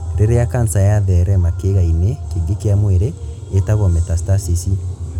Rĩrĩa kanca yatherema kĩĩga-inĩ Kĩngĩ kĩa mwĩrĩ, ĩtagwo metastasis.